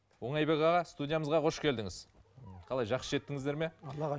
оңайбек аға студиямызға қош келдіңіз қалай жақсы жеттіңіздер ме аллаға